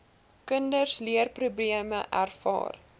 kinders leerprobleme ervaar